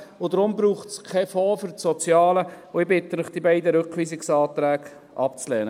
Deshalb braucht es keinen Fonds für das Soziale, und ich bitte Sie, die beiden Rückweisungsanträge abzulehnen.